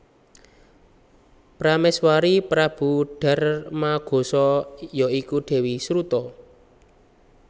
Pramèswari Prabu Darmagosa ya iku Dèwi Sruta